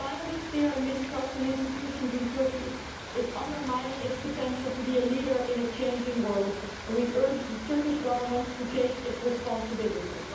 The climate of fear and mistrust in institutions in Turkey is undermining its potential to be a leader in a changing world and we urge the Turkish Government to take its responsibilities.